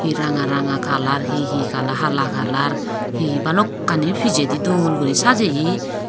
he ranga ranga kalar he he kalar hala kalar balokkani pijedi dol gori sajeye.